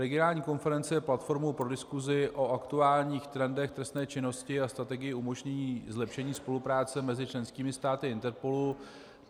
Regionální konference je platformou pro diskusi o aktuálních trendech trestné činnosti a strategie umožnění zlepšení spolupráce mezi členskými státy INPERPOLu.